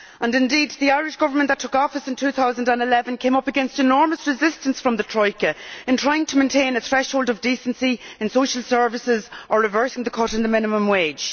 Indeed, the Irish Government that took office in 2011 came up against enormous resistance from the Troika in trying to maintain a threshold of decency in social services and to reverse the cut in the minimum wage.